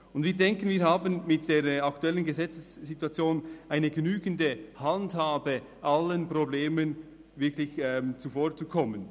Und wir denken, dass wir mit der aktuellen Gesetzessituation eine genügende Handhabe haben, um allen Problemen wirklich zuvorzukommen.